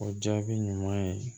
O jaabi ɲuman ye